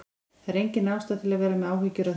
Það er engin ástæða til að vera með áhyggjur af þessu.